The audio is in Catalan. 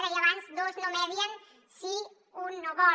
deia abans dos no medien si un no vol